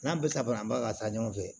N'a bɛ ka ban ka taa ɲɔgɔn fɛ